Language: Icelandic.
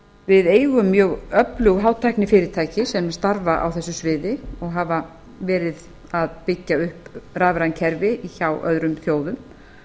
við eigum mjög öflug hátæknifyrirtæki sem starfa á þessu sviði og hafa verið að byggja upp rafræn kerfi hjá öðrum þjóðum